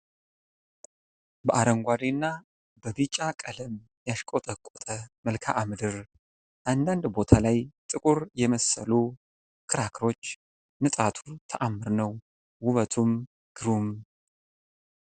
በአረንጓዴ እና በቢጫ ቀለም ያሽቆጠቆጠ መልክአ ምድር ፤ አንዳንድ ቦታ ላይ ጥቁር የመሰሉ ክርካሮች ፤ ንጣቱ ተአምር ነው ውበቱም ግሩም